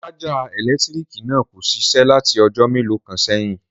Sájà èlétírìkì náà kò ṣiṣé láti ọjọ́ mélòó kan sẹ́yìn